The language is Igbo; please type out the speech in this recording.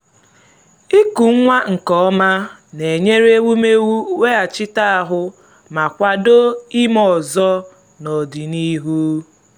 ịkụ nwa nke ọma na-enyere ewumewụ weghachite ahụ́ ma kwado ime ọzọ n’ọdịnihu.